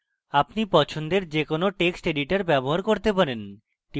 আপনি পছন্দের যে কোনো text editor ব্যবহার করতে পারেন